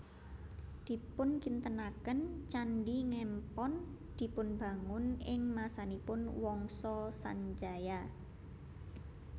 Dipunkintenaken Candhi Ngempon dipunbangun ing masanipun Wangsa Sanjaya